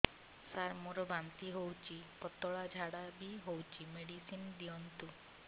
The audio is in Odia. ସାର ମୋର ବାନ୍ତି ହଉଚି ପତଲା ଝାଡା ବି ହଉଚି ମେଡିସିନ ଦିଅନ୍ତୁ